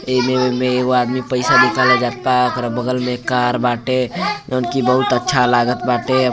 यह में यह वो आदमी पैसा निकला जाता हे अगल बगल में कार बाटे की बहुत हु अच्छा लागल बाटे --